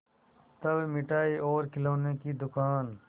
तब मिठाई और खिलौने की दुकान